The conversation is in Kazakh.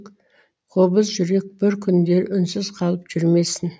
қобыз жүрек бір күндері үнсіз қалып жүрмесін